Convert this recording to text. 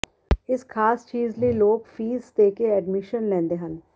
ਇਸ ਖਾਸ ਚੀਜ਼ ਲਈ ਲੋਕ ਫੀਸ ਦੇਕੇ ਐਡਮਿਸ਼ਨ ਲੈਂਦੇ ਹਨ